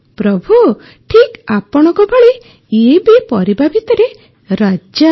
ପ୍ରଭୁ ଠିକ ଆପଣଙ୍କ ଭଳି ଇଏ ବି ପରିବା ଭିତରେ ରାଜା